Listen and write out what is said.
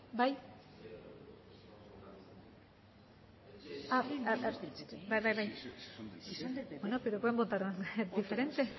bai bai bai bai pero pueden votar diferente